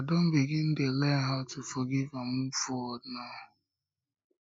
i don begin dey learn how to forgive and move forward now